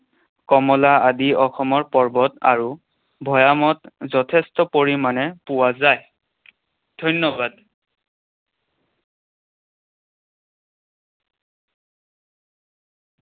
কমলা আদি অসমৰ পৰ্বত আৰু ভৈয়ামত যথেষ্ঠ পৰিমাণে পোৱা যায়। ধন্যবাদ।